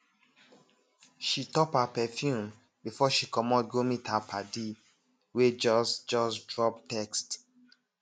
she top her perfume before she comot go meet her padi wey just just drop text